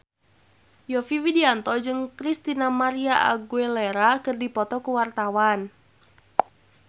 Yovie Widianto jeung Christina María Aguilera keur dipoto ku wartawan